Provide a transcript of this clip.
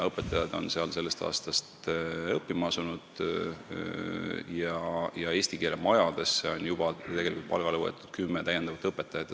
Õpetajad on seal sellest aastast õppima asunud ja eesti keele majadesse on juba täiendavalt kümme õpetajat palgale võetud.